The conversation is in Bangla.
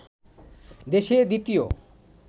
দেশের দ্বিতীয়